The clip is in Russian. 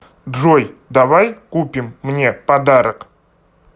джой давай купим мне подарок